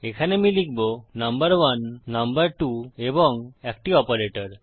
এখানে আমি লিখবো নাম্বার1 নাম্বার2 এবং একটি অপারেটর